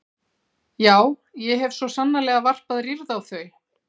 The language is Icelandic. Já, ég hef svo sannarlega varpað rýrð á þau.